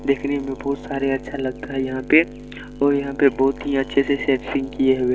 देखने में बहुत सारे अच्छा लगता है यहाँ पे और यहाँ पे बहुत ही अच्छे से सेटिंग किये हुए--